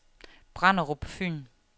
Brenderup Fyn